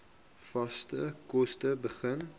vaste kos begin